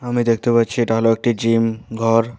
আমি দেখতে পাচ্ছি এটা হল একটি জিম ঘর।